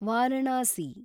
Varanasi